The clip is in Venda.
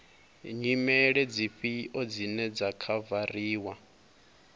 nyimele dzifhio dzine dza khavariwa